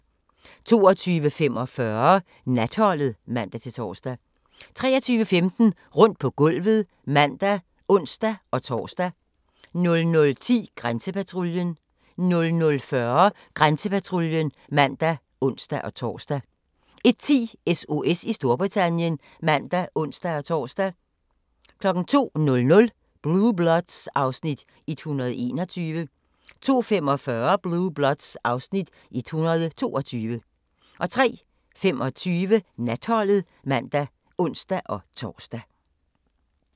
22:45: Natholdet (man-tor) 23:15: Rundt på gulvet (man og ons-tor) 00:10: Grænsepatruljen 00:40: Grænsepatruljen (man og ons-tor) 01:10: SOS i Storbritannien (man og ons-tor) 02:00: Blue Bloods (Afs. 121) 02:45: Blue Bloods (Afs. 122) 03:25: Natholdet (man og ons-tor)